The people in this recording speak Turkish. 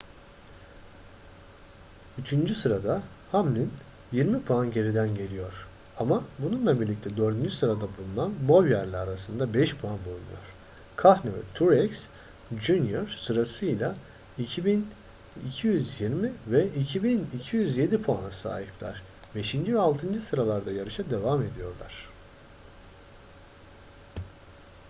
üçüncü sırada hamlin yirmi puan geriden geliyor ama bununla birlikte dördüncü sırada bulunan bowyer'le arasında 5 puan bulunuyor kahne ve truex jr sırasıyla 2.220 ve 2.207 puana sahipler beşinci ve altıncı sıralarda yarışa devam ediyorlar